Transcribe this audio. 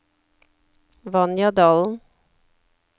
Vanja Dalen